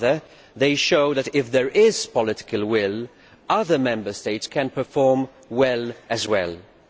rather, they show that, if there is political will, other Member States can perform well too.